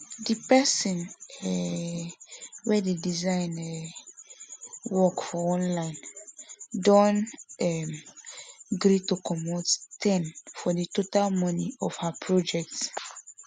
di person um wey dey design um work for online don um gree to comot ten for the total money of her project